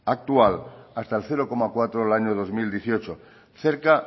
actual hasta el cero coma cuatro del año dos mil dieciocho cerca